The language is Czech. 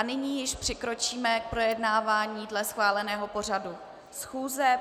A nyní již přikročíme k projednávání dle schváleného pořadu schůze.